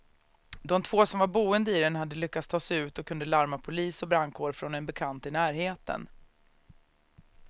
De två som var boende i den hade lyckats ta sig ut och kunde larma polis och brandkår från en bekant i närheten.